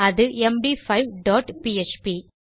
அது MD five dot PHP